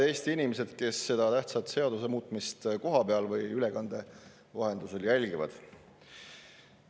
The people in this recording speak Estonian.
Head Eesti inimesed, kes seda tähtsat seaduse muutmist kohapeal või ülekande vahendusel jälgivad!